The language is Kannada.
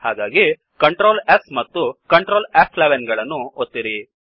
ಹಾಗಾಗಿ Ctrl S ಮತ್ತು Ctrl ಫ್11 ಗಳನ್ನು ಒತ್ತಿರಿ